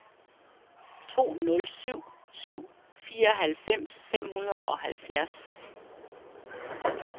to nul syv syv fireoghalvfems fem hundrede og halvfjerds